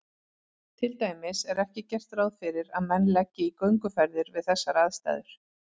Til dæmis er ekki gert ráð fyrir að menn leggi í gönguferðir við þessar aðstæður.